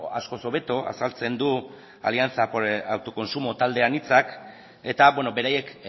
askoz hobeto azaltzen du alianza por el autoconsumo talde anitzak eta beraiek